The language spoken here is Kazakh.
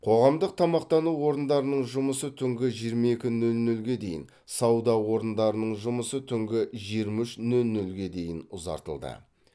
қоғамдық тамақтану орындарының жұмысы түнгі жиырма екі нөл нөлге дейін сауда орындарының жұмысы түнгі жиырма үш нөл нөлге дейін ұзартылды